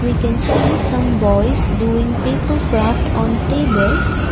we can see some boys doing paper craft on tables.